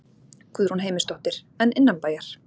Guðrún Heimisdóttir: En innanbæjar?